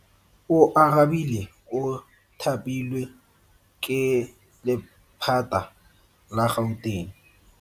Oarabile o thapilwe ke lephata la Gauteng.